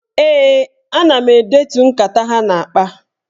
Ee, ana m edetu nkata ha na-akpa.